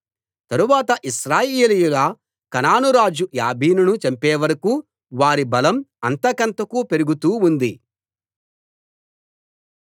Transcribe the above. తరువాత ఇశ్రాయేలీయుల కనాను రాజు యాబీనును చంపేవరకూ వారి బలం అంతకంతకూ పెరుగుతూ ఉంది